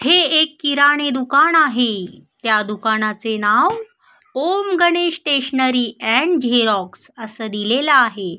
हे एक किराणे दुकान आहे त्या दुकानाचे नाव ॐ गणेश स्टेशनरी अँड झेरॉक्स अस दिलेल आहे.